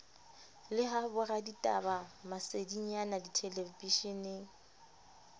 le ha boraditaba masedinyana dithelebishene